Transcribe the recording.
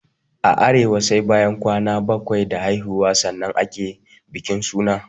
A arewa sai bayan kwana bakwai da haihuwa sannan ake bikin suna